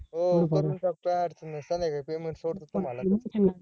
हो करून टाकतो काय अडचण नाय संध्याकाळी payment सोडतो तुम्हाला